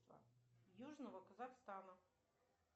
южного казахстана